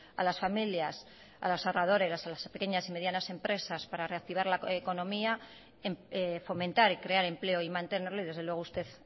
a las familias a los ahorradores y a las pequeñas y medianas empresas para reactivar la economía fomentar y crear empleo y mantenerlo y desde luego usted